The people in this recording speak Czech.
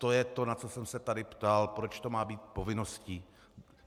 To je to, na co jsem se tady ptal, proč to má být povinností.